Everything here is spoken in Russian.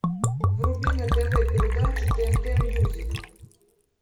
вруби на тв передачу тнт мьюзик